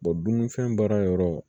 dununifɛn baara yɔrɔ